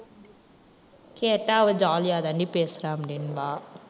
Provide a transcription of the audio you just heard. கேட்டா அவ jolly யா தாண்டி பேசுறா அப்படின்பா.